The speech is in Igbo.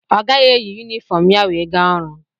Ọ gaghị eyi yumifọm ya wee gaa ọrụ.